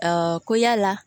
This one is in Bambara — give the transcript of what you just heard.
ko yala